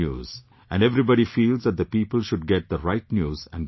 And everybody feels that the people should get the right news and good news